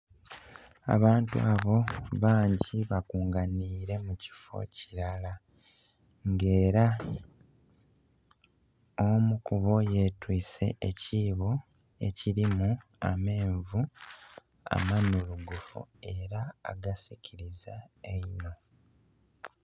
Abantu abo bangi bakunganire mu kifo kilala, nga era omu kubo yetwiise ekiibo ekilimu amenvu, amanhulugufu era agasikiliza einho.